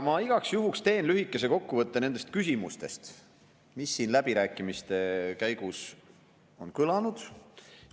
Ma igaks juhuks teen lühikese kokkuvõtte nendest küsimustest, mis on siin läbirääkimiste käigus kõlanud.